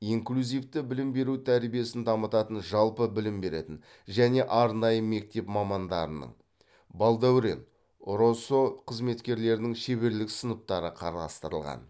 инклюзивті білім беру тәжірибесін дамытатын жалпы білім беретін және арнайы мектеп мамандарының балдәурен росо қызметкерлерінің шеберлік сыныптары қарастырылған